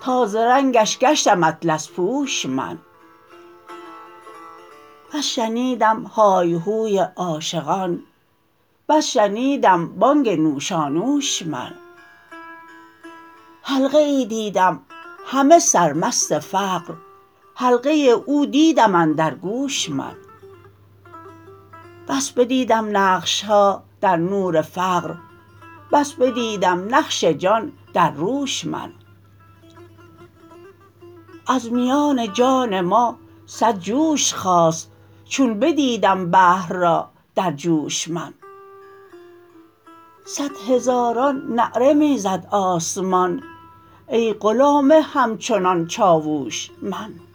تا ز رنگش گشتم اطلس پوش من بس شنیدم های و هوی عاشقان بس شنیدم بانگ نوشانوش من حلقه ای دیدم همه سرمست فقر حلقه او دیدم اندر گوش من بس بدیدم نقش ها در نور فقر بس بدیدم نقش جان در روش من از میان جان ما صد جوش خاست چون بدیدم بحر را در جوش من صد هزاران نعره می زد آسمان ای غلام همچنان چاووش من